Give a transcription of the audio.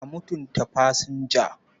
A mutunta fasinja.